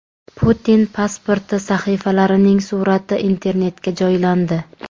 Putin pasporti sahifalarining surati Internetga joylandi.